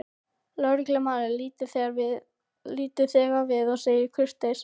Lögreglumaðurinn lítur þegar við og segir kurteis